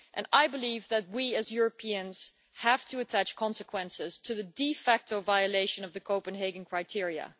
I believe that we as Europeans have to attach consequences to the de facto violation of the Copenhagen criteria.